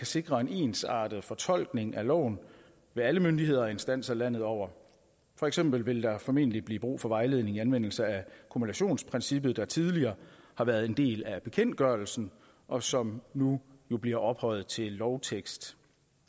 sikre en ensartet fortolkning af loven ved alle myndigheder og instanser landet over for eksempel vil der formentlig blive brug for vejledning i anvendelse af kumulationsprincippet der tidligere har været en del af bekendtgørelsen og som nu bliver ophøjet til lovtekst